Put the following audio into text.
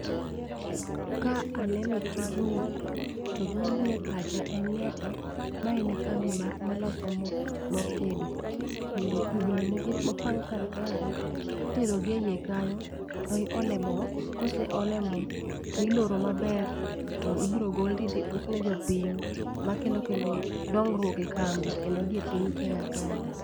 Ka aneno tijni to gima bire pacha en ni ati mae en kambi mar maloso mor tedo kendo kubni moket mopang kar kagi itero gi e iye kanyo to ielo moo , koseole moo to iloro maber to ibro gol tidhi usne jopiny ma kelo dongruok e kambi kendo gi e piny kenya kae.